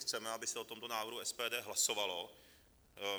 Chceme, aby se o tomto návrhu SPD hlasovalo.